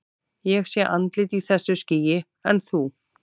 Ég sé andlit í þessu skýi, en þú?